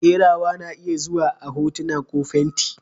Kerawa na iya zuwa a hotuna ko fenti.